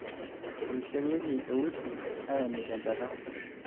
eirisharrieki eusi aaeniki enchata